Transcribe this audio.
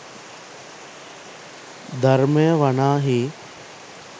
ධර්මය වනාහී